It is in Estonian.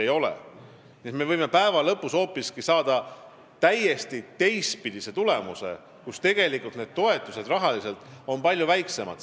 Nii et me võime päeva lõpuks saada hoopiski teistpidise tulemuse ja tegelikult on need toetused palju väiksemad.